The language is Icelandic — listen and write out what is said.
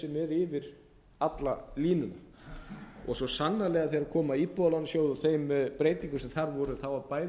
yfir alla línuna og svo sannarlega þegar kom að íbúðalánasjóði og þeim breytingum sem þar voru bæði